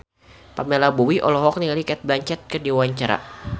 Pamela Bowie olohok ningali Cate Blanchett keur diwawancara